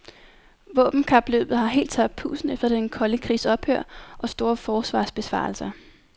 Våbenkapløbet har helt tabt pusten efter den kolde krigs ophør og store forsvarsbesparelser.